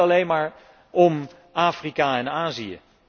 Het gaat niet alleen maar om Afrika en Azië.